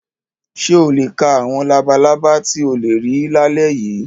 Ṣé o lè ka àwọn labalábá tí ó lè rí lálẹ́ yìí?